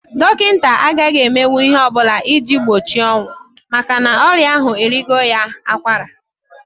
Dọkịta agaghị emenwu ihe ọ bụ iji gbochi ọnwụ makana ọrị ahu eriela ya akwara.